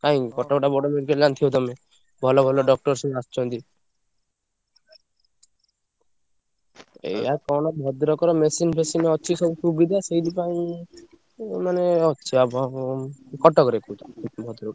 କାଇଁ କଟକଟା ବଡ medical ଜାଣିଥିବ ତମେ। ଭଲ ଭଲ doctor ସବୁ ଆସୁଛନ୍ତି। ଏୟା କଣ ଭଦ୍ରକର machine ଫେସିନି ଅଛି ସବୁ ସୁବିଧା ସେଇଥିପାଇଁ ଉ ମାନେ ଅଛି ଆଉ ଭ~ କଟକରେ କୋଉଠି ଭଦ୍ରକ।